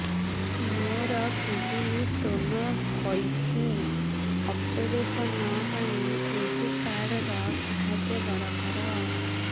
ମୋର kidney stone ହଇଛି operation ପାଇଁ ଏହି କାର୍ଡ ର ସାହାଯ୍ୟ ଦରକାର